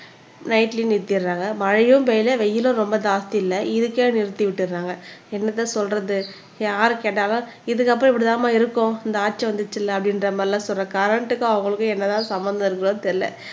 நைட்லயே நிறுத்திடறாங்க மழையும் பெய்யல வெயிலும் ரொம்ப ஜாஸ்தி இல்லை இதுக்கே நிறுத்தி விட்டறாங்க என்னத்த சொல்றது யாருக்கு கேட்டாலும் இதுக்கப்புறம் இப்படிதாம்மா இருக்கும் இந்த ஆட்சி வந்துச்சுல்ல அப்படின்ற மாதிரி எல்லாம் சொல்ற கரண்ட்க்கும் அவங்களுக்கும் என்னதான் சம்மந்தம் இருக்குதோ தெரியல